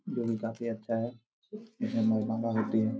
दिन काफी अच्छा है इसमें मोबामा होती हैं।